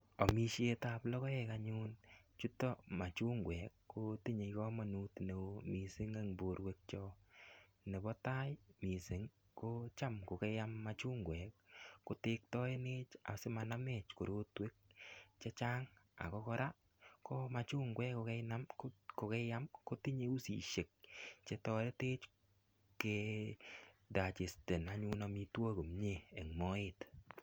Amisietab logoek anyun chotok machungwek, kotinye kamanut neo mising eng borwekyok. Nebo tai mising ko cham kokeyam machungwek kotektaenech asimanamech korotwek che chang ago kora ko machungwek kogeinam, kogeiyam kotinye usisiek che toretech ke digest en anyun amitwogik komie eng moet.